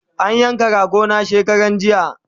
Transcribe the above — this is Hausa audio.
An yanka rago na shekaranjiya